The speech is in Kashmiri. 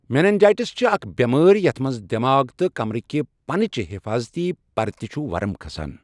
مینَنجایٹِس چھِ اَکھ بؠمٲرؠ یَتھ مَنٛز دؠماغ تہٕ کَمرٕکہ پَنہٕ چہ حٮ۪فاظتی پَرتہِ چھُ وَرُم کھسان